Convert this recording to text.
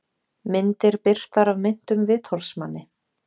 Myndir birtar af meintum vitorðsmanni